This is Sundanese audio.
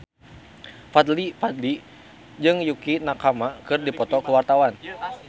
Fadly Padi jeung Yukie Nakama keur dipoto ku wartawan